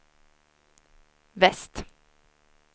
väst